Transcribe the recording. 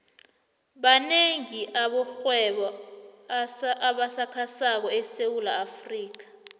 manengi amarhwebo asakhasako esewula afrika